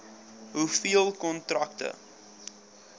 hoeveel kontrakte